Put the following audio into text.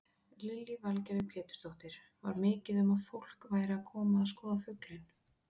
Lillý Valgerður Pétursdóttir: Var mikið um að fólk væri að koma að skoða fuglinn?